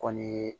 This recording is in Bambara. Kɔni ye